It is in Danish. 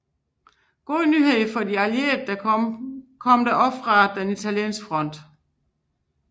Gode nyheder for de allierede kom der også fra den italienske front